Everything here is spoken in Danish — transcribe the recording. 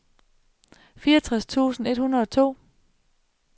fireogtres tusind et hundrede og to